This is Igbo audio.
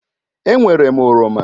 E nwèré m oroma.